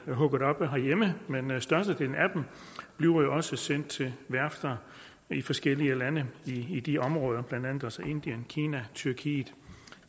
hugget op herhjemme men men størstedelen af dem bliver også sendt til værfter i forskellige lande i de områder blandt andet altså indien kina tyrkiet